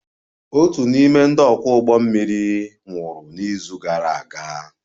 Otu n'ime ndị ọkwọ ụgbọ mmiri nwụrụ n'izu gara aga